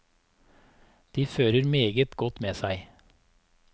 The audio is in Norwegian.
De fører meget godt med seg.